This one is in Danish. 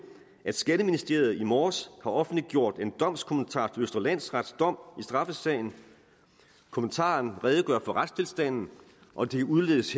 at skatteministeriet i morges har offentliggjort en domskommentar til østre landsrets dom i straffesagen kommentaren redegør for retstilstanden og det udledes